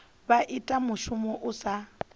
vha ita mushumo u sa